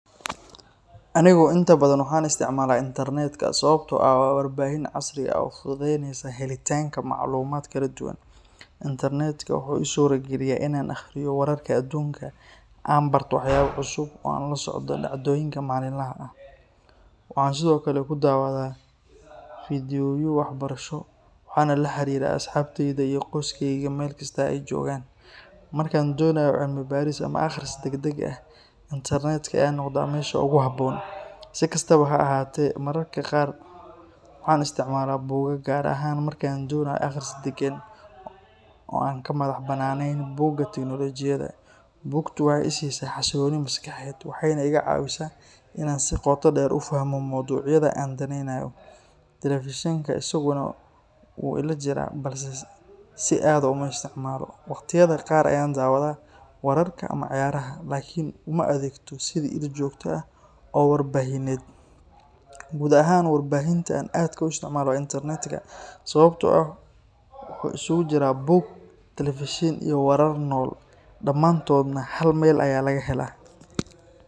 Anigu inta badan waxaan isticmaalaa internetka sababtoo ah waa warbaahin casri ah oo fududeynaysa helitaanka macluumaad kala duwan. Internetka wuxuu ii suuraa geliyaa in aan akhriyo wararka adduunka, aan barto waxyaabo cusub, oo aan la socdo dhacdooyinka maalinlaha ah. Waxaan sidoo kale ku daawadaa fiidiyowyo waxbarasho, waxaana la xiriiraa asxaabteyda iyo qoyskayga meel kasta oo ay joogaan. Marka aan doonayo cilmi-baaris ama akhris degdeg ah, internetka ayaa noqda meesha ugu habboon. Si kastaba ha ahaatee, mararka qaar waxaan isticmaalaa buugaag, gaar ahaan marka aan doonayo akhris deggan oo aan ka madax bannaanayn buuqa tiknoolajiyadda. Buugtu waxay i siisaa xasilooni maskaxeed, waxayna iga caawisaa in aan si qoto dheer u fahmo mowduucyada aan daneynayo. Telefishinka isaguna wuu ila jiraa, balse si aad ah uma isticmaalo. Waqtiyada qaar ayaan daawadaa wararka ama ciyaaraha, laakiin uma adeegto sidii il joogto ah oo warbaahineed. Guud ahaan, warbaahinta aan aadka u isticmaalo waa internetka, sababtoo ah wuxuu isugu jiro buug, telefishin, iyo warar nool, dhammaantoodna hal meel ayaa laga helaa.